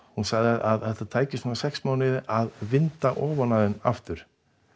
hún sagði að það tæki svona sex mánuði að vinda ofan af þeim aftur